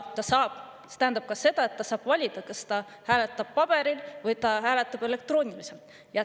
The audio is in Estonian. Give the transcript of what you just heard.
Ja see tähendab ka seda, et ta saab valida, kas ta hääletab paberil või ta hääletab elektrooniliselt.